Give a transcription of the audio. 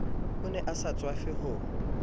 ne a sa tswafe ho